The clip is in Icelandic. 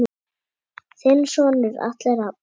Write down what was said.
Þinn sonur Atli Rafn.